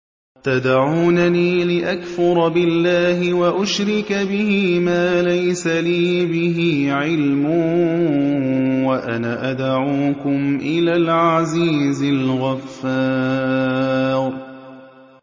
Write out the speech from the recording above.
تَدْعُونَنِي لِأَكْفُرَ بِاللَّهِ وَأُشْرِكَ بِهِ مَا لَيْسَ لِي بِهِ عِلْمٌ وَأَنَا أَدْعُوكُمْ إِلَى الْعَزِيزِ الْغَفَّارِ